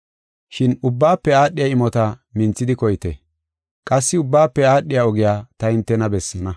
Shin ubbaafe aadhiya imota minthidi koyite. Qassi ubbaafe aadhiya ogiya ta hintena bessaana.